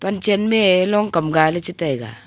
lam chen mey long gai chitaiga.